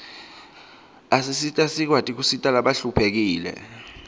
asisita sikwati kusita labahluphekile